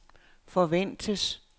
forventes